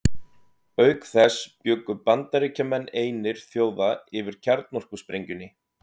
Auk þess bjuggu Bandaríkjamenn einir þjóða yfir kjarnorkusprengjunni.